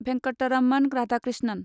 Venkataraman Radhakrishnan